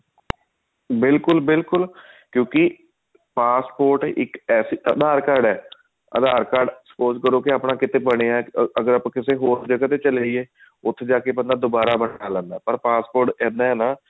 ਬਿਲਕੁਲ ਬਿਲਕੁਲ ਕਿਉਂਕਿ passport ਇੱਕ ਐਸੀ ਆਧਾਰ card ਹੈ ਆਧਾਰ card suppose ਕਰੋ ਆਪਣਾ ਕਿਤੇ ਬਣਿਆ ਅਗਰ ਆਪਾਂ ਕਿਸੇ ਹੋਰ ਜਗ੍ਹਾ ਤੇ ਚਲੇ ਜਾਈਏ ਉੱਥੇ ਜਾ ਕੇ ਬੰਦਾ ਦੁਬਾਰਾ ਬਣਾ ਲੈਂਦਾ ਪਰ passport ਇੱਦਾਂ ਹੈ ਨਾ